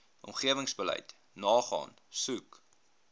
omgewingsbeleid nagaan soek